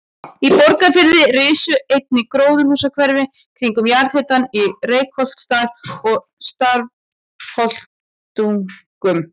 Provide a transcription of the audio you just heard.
Í Borgarfirði risu einnig gróðurhúsahverfi kringum jarðhitann í Reykholtsdal og Stafholtstungum.